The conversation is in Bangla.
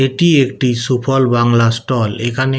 এটি একটি সুফল বাংলা ষ্টল । এখানে--